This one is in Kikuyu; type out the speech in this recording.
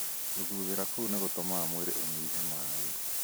Gũthuthĩra kũu nĩ gũtũmaga mwĩrĩ ũnyihe maĩ.